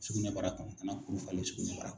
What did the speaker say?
Sugunɛbara kan ka na kuru falen sugunɛbara